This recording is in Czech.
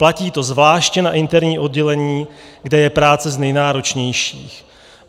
Platí to zvláště na interním oddělení, kde je práce z nejnáročnějších.